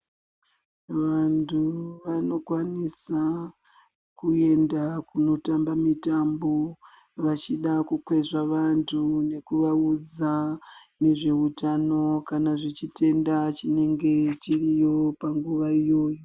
Muntu vanokwanisa kuenda kunotamba mitambo vachida kukwezva vanhu nekuvaudza nezveutano kana zvechitenda chinenge chiriyo panguva iyoyo